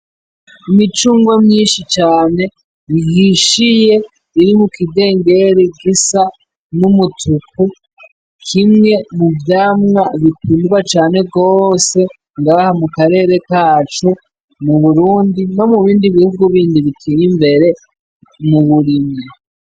Imicungwe myinshi cane ihishiye iri mu kindengeri gisa n'umutuku, kimwe mu vyamwa bikundwa cane gose ngaha mu karere kacu mu Burundi no mu bindi bihugu bindi bitey'imbere mu burimyi.